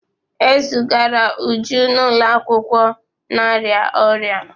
E zigara Uju n'ụlọ akwụkwọ na-arịa ọrịa.